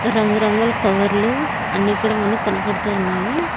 రంగు రంగుల కవర్లు అన్ని కూడా మనకు కనబడుతూ ఉన్నాయి.